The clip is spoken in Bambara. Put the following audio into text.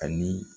Ani